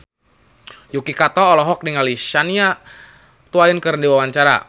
Yuki Kato olohok ningali Shania Twain keur diwawancara